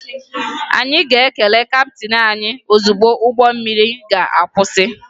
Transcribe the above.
Anyị ga-ekele kaptịn anyị ozugbo ụgbọ mmiri ga-akwụsị